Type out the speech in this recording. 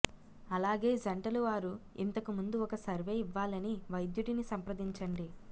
అలాగే జంటలు వారు ఇంతకు ముందు ఒక సర్వే ఇవ్వాలని వైద్యుడిని సంప్రదించండి